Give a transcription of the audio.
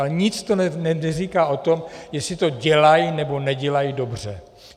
Ale nic to neříká o tom, jestli to dělají nebo nedělají dobře.